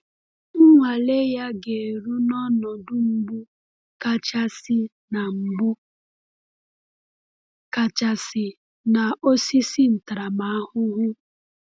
Nnwale ya ga-eru n’ọnọdụ mgbu kachasị na mgbu kachasị na osisi ntaramahụhụ.